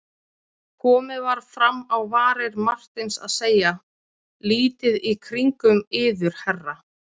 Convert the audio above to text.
Komið var fram á varir Marteins að segja: lítið í kringum yður herra.